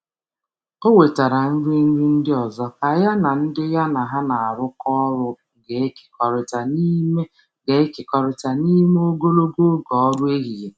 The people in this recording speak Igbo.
O wetara nri nri ndị ọzọ ka ya na ndị ya na ha na-arụkọ ọrụ ga-ekekọrịta n'ime ga-ekekọrịta n'ime ogologo oge ọrụ ehihie.